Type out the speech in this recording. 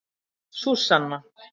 Súsanna